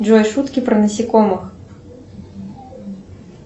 джой шутки про насекомых